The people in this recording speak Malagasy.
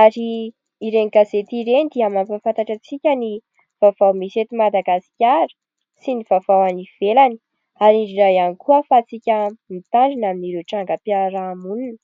ary ireny gazety ireny dia mampahafantatra antsika ny vaovao misy eto madagasikara sy ny vaovao any ivelany ary indrindra iany koa ahafahantsika mitandrina amin'ireo trangam-piaramonina.